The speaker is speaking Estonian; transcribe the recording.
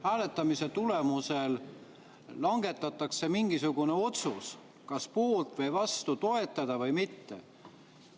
Hääletamise tulemusel langetatakse mingisugune otsus: kas poolt või vastu, toetada või mitte.